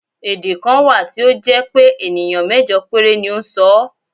Èdè kan wà tí ó jẹ́ pé ènìyàn mẹ́jọ péré ni ó ń sọ ọ́.